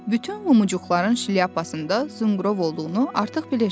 Bütün Lumuçuqların şlyapasında zınqrov olduğunu artıq bilirsiz.